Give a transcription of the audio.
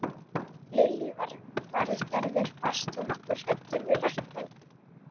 Lillý Valgerður: Varst þú nokkuð hræddur við lækninn?